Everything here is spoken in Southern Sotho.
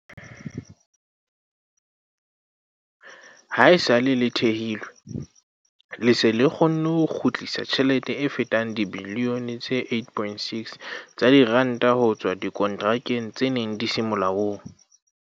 Haesale le thehilwe, le se le kgonne ho kgutlisa tjhelete e fetang dibilione tse 8.6 tsa diranta ho tswa dikonterakeng tse neng di se molaong.